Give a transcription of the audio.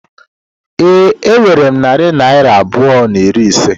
Ee, enwere m narị naira abụọ na iri ise.